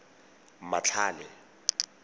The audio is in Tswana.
matlhale